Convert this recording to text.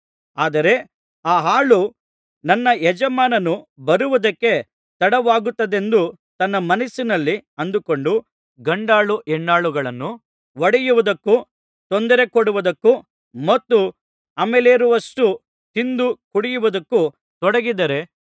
ಆದರೆ ಆ ಆಳು ನನ್ನ ಯಜಮಾನನು ಬರುವುದಕ್ಕೆ ತಡವಾಗುತ್ತದೆಯೆಂದು ತನ್ನ ಮನಸ್ಸಿನಲ್ಲಿ ಅಂದುಕೊಂಡು ಗಂಡಾಳು ಹೆಣ್ಣಾಳುಗಳನ್ನು ಹೊಡೆಯುವುದಕ್ಕೂ ತೊಂದರೆಕೊಡುವುದಕ್ಕೂ ಮತ್ತು ಅಮಲೇರುವಷ್ಟು ತಿಂದು ಕುಡಿಯುವುದಕ್ಕೂ ತೊಡಗಿದರೆ